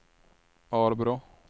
Arbrå